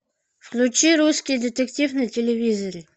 включи русский детектив на телевизоре